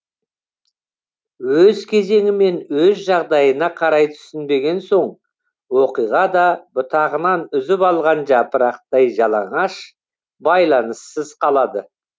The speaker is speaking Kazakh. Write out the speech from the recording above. өз кезеңі мен өз жағдайына қарай түсінбеген соң оқиға да бұтағынан үзіп алған жапырақтай жалаңаш байланыссыз қалады